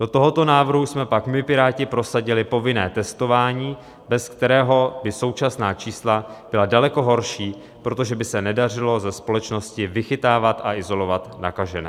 Do tohoto návrhu jsme pak my Piráti prosadili povinné testování, bez kterého by současná čísla byla daleko horší, protože by se nedařilo ze společnosti vychytávat a izolovat nakažené.